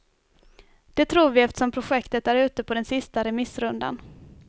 Det tror vi eftersom projektet är ute på den sista remissrundan.